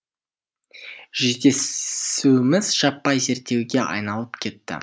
жүздесуіміз жаппай зерттеуге айналып кетті